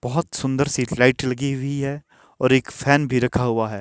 बहोत सुंदर सी लाइट लगी हुई है और एक फैन भी रखा हुआ है।